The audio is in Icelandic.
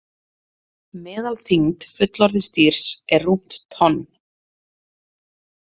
Meðalþyngd fullorðins dýrs er rúmt tonn.